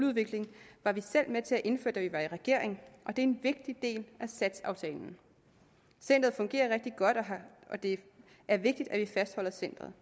udvikling var vi selv med til at indføre da vi var i regering og det er en vigtig del af satsaftalen centeret fungerer rigtig godt og det er vigtigt at vi fastholder centeret